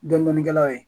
Dɔndɔni kɛlaw ye